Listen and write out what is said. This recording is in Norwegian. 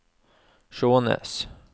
Skjånes